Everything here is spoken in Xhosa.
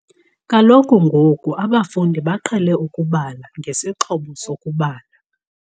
Kaloku ngoku abafundi baqhele ukubala ngesixhobo sokubala.